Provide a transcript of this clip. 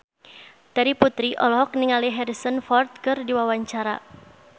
Terry Putri olohok ningali Harrison Ford keur diwawancara